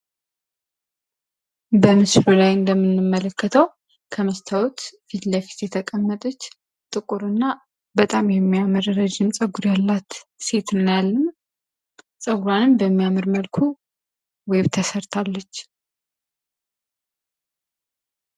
በምስሉ ላይ እንደምንመለከተው ከመስታወት ፊት ለፊት የተቀመጠች ጥቁርና በጣም ረጅም የሚያምር ጸጉር ያላት ሴት እናያለን። ጸጉሯንም በሚያምር መልኩ ዌብ ተሰርታለች